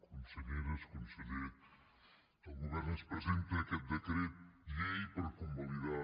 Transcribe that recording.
conselleres conseller el govern ens presenta aquest decret llei per convalidar